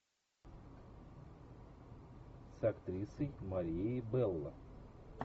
с актрисой марией белло